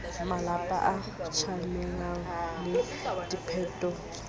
malapa a tjamelane le diphepetso